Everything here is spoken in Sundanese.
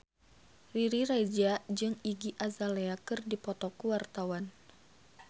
Riri Reza jeung Iggy Azalea keur dipoto ku wartawan